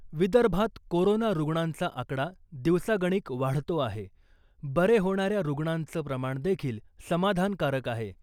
विदर्भात कोरोना रुग्णांचा आकडा दिवसागणिक वाढतो आहे . बरे होणाऱ्या रुग्णांचं प्रमाण देखील समाधान कारक आहे.